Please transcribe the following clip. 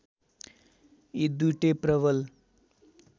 यी दुईटै प्रबल